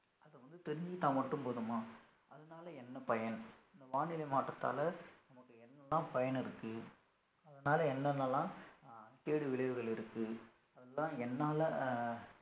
அத வந்து தெரிஞ்சிக்கிட்டா மட்டும் போதுமா அதனால என்ன பயன் இந்த வானிலை மாற்றத்தால நமக்கு என்னலாம் பயன் இருக்கு அதனால என்னென்ன எல்லாம் அஹ் கேடு விளைவுகள் இருக்கு அதெல்லாம் என்னால